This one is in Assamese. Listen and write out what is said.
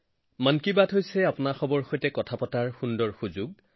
মন কী বাত মানে আপোনালোকক লগ পোৱাৰ এক শুভ সুযোগ